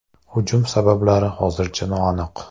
Hujum sabablari hozircha noaniq.